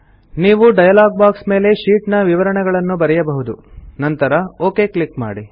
ನೀವು dialog box ಮೇಲೆ sheet ನ ವಿವರಣೆಗಳನ್ನು ಬರೆಯಬಹುದು ನಂತರ ಒಕ್ ಕ್ಲಿಕ್ ಮಾಡಿ